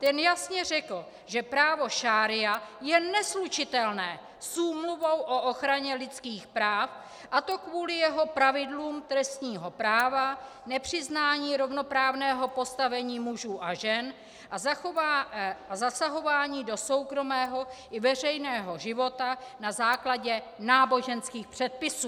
Ten jasně řekl, že právo šaría je neslučitelné s Úmluvou o ochraně lidských práv, a to kvůli jeho pravidlům trestního práva, nepřiznání rovnoprávného postavení mužů a žen a zasahování do soukromého i veřejného života na základě náboženských předpisů.